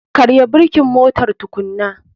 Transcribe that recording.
Karya birkin motar tukunan.